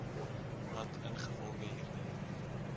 wat ingevolge hierdie